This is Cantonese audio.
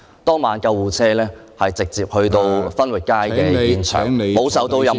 當晚救護車是駛至分域街現場，沒有受到任何......